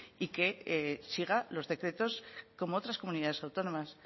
y que siga los decretos como otras comunidades autónomas